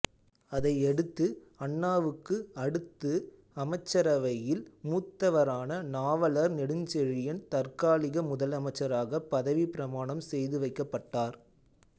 அதையடுத்து அண்ணாவுக்கு அடுத்து அமைச்சரவையில் மூத்தவரான நாவலர் நெடுஞ்செழியன் தற்காலிக முதலமைச்சராகப் பதவிப் பிரமாணம் செய்துவைக்கப்பட்டார்